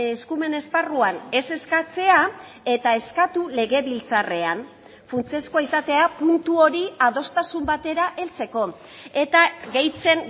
eskumen esparruan ez eskatzea eta eskatu legebiltzarrean funtsezkoa izatea puntu hori adostasun batera heltzeko eta gehitzen